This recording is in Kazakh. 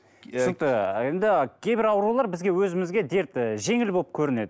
түсінікті енді кейбір аурулар бізге өзімізге дерт ы жеңіл болып көрінеді